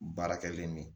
Baara kɛlen ni